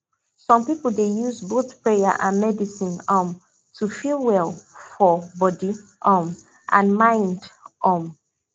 some people dey use both prayer and medicine um to feel well for body um and mind um